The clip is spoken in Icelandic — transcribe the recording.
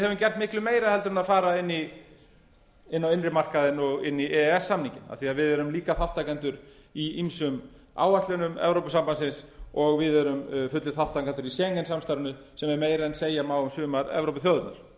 höfum gert miklu meira heldur en fara inn á innri markaðinn og inn í e e s samninginn af því að við erum líka þátttakendur í ýmsum áætlunum evrópusambandsins og við erum fullir þátttakendur í schengen samstarfinu sem er meira en segja má um sumar evrópuþjóðirnar